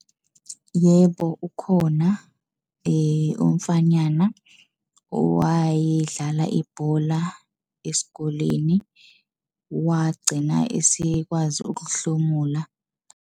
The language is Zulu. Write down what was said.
Yebo, ukhona umfanyana owayedlala ibhola esikoleni wagcina esekwazi ukuhlomula.